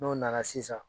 N'o nana sisan